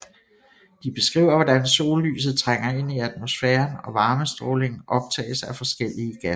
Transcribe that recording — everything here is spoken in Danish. De beskriver hvordan sollyset trænger ind i atmosfæren og varmestrålingen optages af forskellige gasser